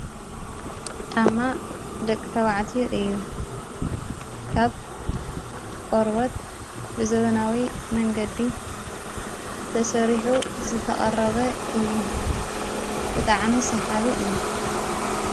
ጫማ ደቂ ተውዐትዩ እዩ ካብ ቀረዎት ብዘብናዊ መንገዲ ተሠሪሑ ዝተቐረበ እዩ ብጥዓሚ ሰሓቢ እዩ።